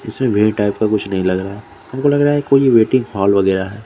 इसे वि टाइप का कुछ नहीं लगरा है हमको लग रहा है कोई वेटिंग हॉल वगेरा है ।